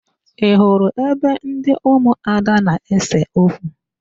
Ị hụrụ ebe ndị ụmụada na-ese okwu?